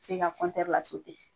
Se ka la